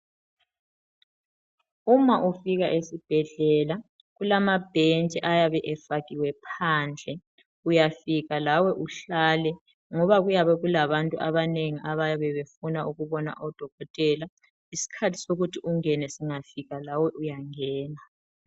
Uma ufika esibhedlela kulamabhentshi ayabe efakiwe phandle uyafika lawe uhlale ngoba kuyabe kulabantu abanengi abayabe befuna ukubona odokotela isikhathi sokuthi ungene singafika lawe uyangena.